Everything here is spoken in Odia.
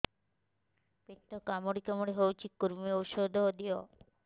ପେଟ କାମୁଡି କାମୁଡି ହଉଚି କୂର୍ମୀ ଔଷଧ ଦିଅ